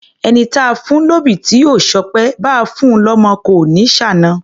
Ẹni táa fún lóbì tí ò ṣọpẹ́, báa fun lọ́mọ kò ní ṣàna.